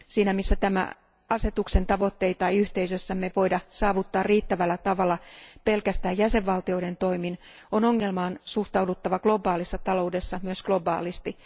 Siinä, missä tämän asetuksen tavoitteita ei yhteisössämme voida saavuttaa riittävällä tavalla pelkästään jäsenvaltioiden toimin, on ongelmaan suhtauduttava globaalissa taloudessa myös globaalisti.